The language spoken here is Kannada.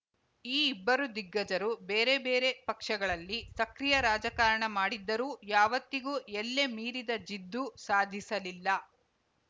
ಈ ಇಬ್ಬರು ದಿಗ್ಗಜರು ಬೇರೆ ಬೇರೆ ಪಕ್ಷಗಳಲ್ಲಿ ಸಕ್ರಿಯ ರಾಜಕಾರಣ ಮಾಡಿದ್ದರೂ ಯಾವತ್ತಿಗೂ ಎಲ್ಲೆ ಮೀರಿದ ಜಿದ್ದು ಸಾಧಿಸಲಿಲ್ಲ